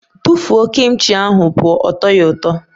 Tụfuo Kim chi ahụ pụọ! Ọ tọghi ụtọ.